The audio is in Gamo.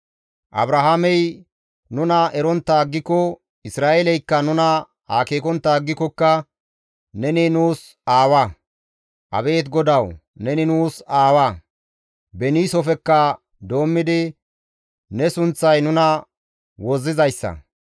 Abrahaamey nuna erontta aggiko, Isra7eeleykka nuna akeekontta aggikokka neni nuus aawa. Abeet GODAWU, neni nuus aawa; Beniisofekka doommidi ne sunththay nuna wozzizayssa.